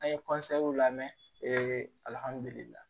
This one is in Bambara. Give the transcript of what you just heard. An ye lamɛn